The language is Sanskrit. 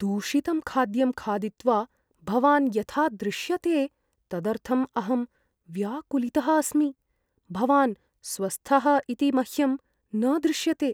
दूषितं खाद्यं खादित्वा भवान् यथा दृश्यते तदर्थम् अहं व्याकुलितः अस्मि। भवान् स्वस्थः इति मह्यं न दृश्यते।